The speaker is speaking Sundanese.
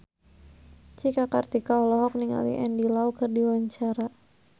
Cika Kartika olohok ningali Andy Lau keur diwawancara